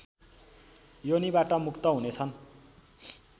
योनिबाट मुक्त हुनेछन्